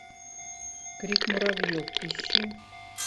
крик муравьев ищи